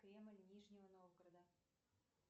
кремль нижнего новгорода